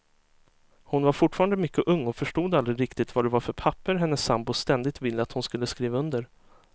Hon var fortfarande mycket ung och förstod aldrig riktigt vad det var för papper hennes sambo ständigt ville att hon skulle skriva under.